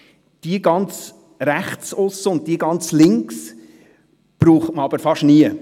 Jene ganz rechts und jene ganz links aussen braucht man fast nie.